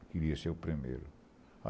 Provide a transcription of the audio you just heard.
Eu queria ser o primeiro.